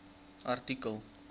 artikel